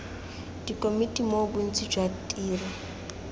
dikomiti moo bontsi jwa tiro